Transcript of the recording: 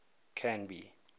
canby